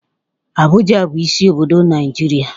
Abụja bụ isi obodo Naijiria